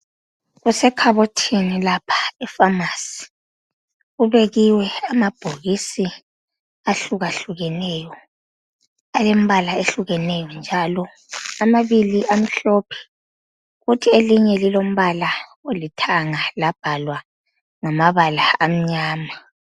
Kusekhabothini lapha epharmacy. Kubekiwe amabhokisi ahlukahlukeneyo, alembala ehlukeneyo njalo. Amabili amhlophe, kuthi elinye lilombala olithanga labhalwa ngamabala amnyama.